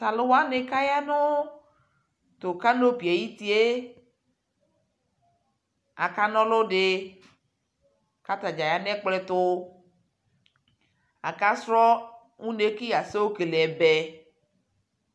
Talʋwani kaya nʋ tʋ kanopie ayʋ utie, akana ɔlʋ dι kʋ atadza ya nʋ ɛpklɔ tʋ Akasrɔ une kʋ yasɛ yokele ɛbɛ